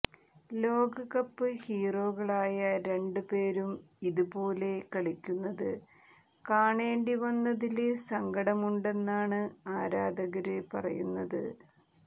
ലോകകപ്പ് ഹീറോകളായ രണ്ട് പേരും ഇത് പോലെ കളിക്കുന്നത് കാണേണ്ടി വന്നതില് സങ്കടമുണ്ടെന്നാണ് ആരാധകര് പറയുന്നത്